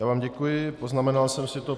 Já vám děkuji, poznamenal jsem si to.